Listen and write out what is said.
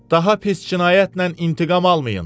Daha pis cinayətlə intiqam almayın!